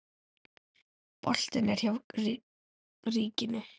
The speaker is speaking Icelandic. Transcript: Boltinn er hjá ríkinu.